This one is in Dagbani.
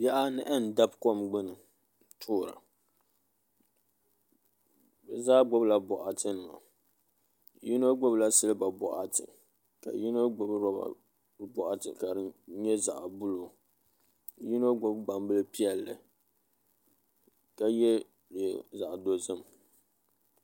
Bihi anahi n dabi kom gbuni n toora bi zaa gbubila boɣati nima yino gbubila silba boɣati ka yino gbubi roba boɣati ka di nyɛ zaɣ buluu ka yino gbubi gbambili piɛlli ka yɛ liiga zaɣ dozim